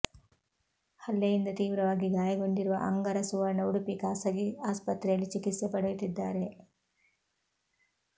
ಹಲ್ಲೆಯಿಂದ ತೀವ್ರವಾಗಿ ಗಾಯಗೊಂಡಿರುವ ಅಂಗರ ಸುವರ್ಣ ಉಡುಪಿ ಖಾಸಗಿ ಆಸ್ಪತ್ರೆಯಲ್ಲಿ ಚಿಕಿತ್ಸೆ ಪಡೆಯುತ್ತಿದ್ದಾರೆ